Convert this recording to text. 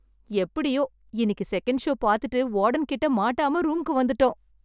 எப்படியோ, இன்னிக்கி second show பாத்துட்டு வார்டன் கிட்ட மாட்டாம ரூம்க்கு வந்துட்டோம்.